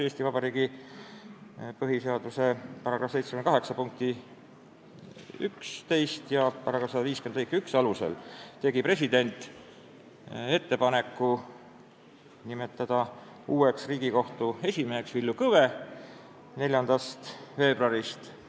Eesti Vabariigi põhiseaduse § 78 punkti 11 ja § 150 lõike 1 alusel tegi president ettepaneku nimetada uueks Riigikohtu esimeheks 4. veebruarist Villu Kõve.